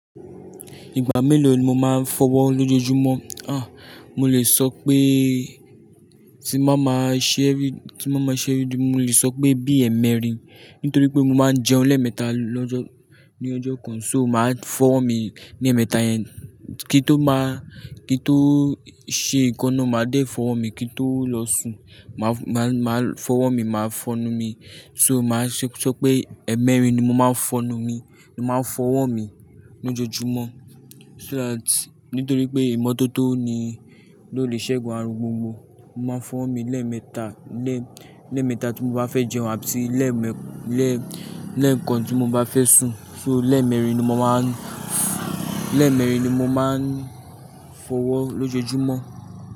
Ìgbà mélòó ni mo máa ń fọwọ́ lójoojúmọ́? Ah! Mo lè sọ pé tí mo bá máa ṣẹ́ rí, tí mo bá máa ṣẹ́ rí, mo lè sọ pé bí ẹ́ẹ̀mẹrin nítorí pé mo máa ń jẹun lẹ́ẹ̀mẹta lọ́jọ́, ní ọjọ́ kan. So màá fọwọ́ mi ní ẹ́ẹ̀mẹta yẹn kí n tó máa, kí n tó ṣe nǹkan ná, màá dé fọwọ́ mi kí n tó lọ sùn. Màá, màá, màá fọwọ́ mi, màá fọnu mi. So màá ṣe sọ pé ẹ̀ẹ́mẹrin ni mo máa ń fọnu mi, ni mo máa ń fọwọ́ mi lójoojúmọ́. So that nítorí pé ìmọ́tótó ni ló lè ṣẹgun aàrùn gbogbo. Mo máa ń fọwọ́ mi lẹ́ẹ̀mẹta, lẹ́ẹ̀mẹta tí mo bá fẹ́ jẹun àti lẹ́ẹ̀mẹ lẹ́ẹ̀kan tí mo bá fẹ́ sùn. So lẹ́ẹ̀mẹrin ni mo máa ń, lẹ́ẹ̀mẹrin ni mo máa ń fọwọ́ lójoojúmọ́.